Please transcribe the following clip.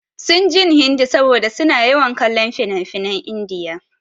Sun jin Hindi saboda su na yawan kallon finafinan India.